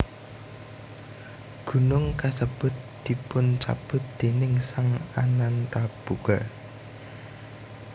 Gunung kasebut dipuncabut déning Sang Anantabhoga